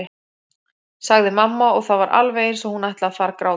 sagði mamma og það var alveg eins og hún ætlaði að fara að gráta.